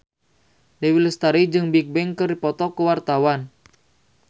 Dewi Lestari jeung Bigbang keur dipoto ku wartawan